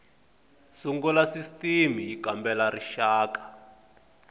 sungula sisitimi y kambela rixaka